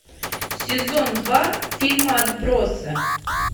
сезон два фильма отбросы